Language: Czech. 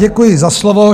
Děkuji za slovo.